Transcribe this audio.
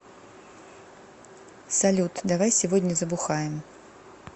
салют давай сегодня забухаем